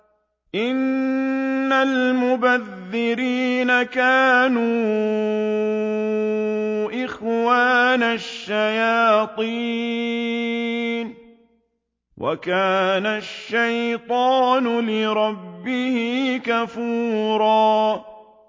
إِنَّ الْمُبَذِّرِينَ كَانُوا إِخْوَانَ الشَّيَاطِينِ ۖ وَكَانَ الشَّيْطَانُ لِرَبِّهِ كَفُورًا